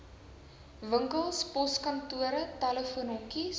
winkels poskantore telefoonhokkies